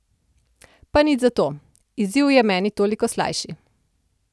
Pa nič zato, izziv je meni toliko slajši!